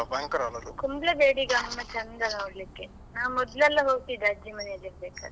Kumble ಬೇಡಿ ಗಮ್ಮತ್ ಚಂದ ನೋಡ್ಲಿಕ್ಕೆ ನಾ ಮೊದಲೆಲ್ಲ ಹೋಗ್ತಿದ್ದೆ ಅಜ್ಜಿ ಮನೇಲಿ ಇರ್ಬೇಕಿದ್ರೆ.